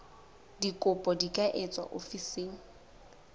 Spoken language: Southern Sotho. dikopo di ka etswa ofising